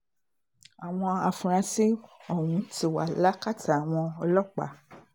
àwọn afurasí ọ̀hún ti wà lákàtà àwọn ọlọ́pàá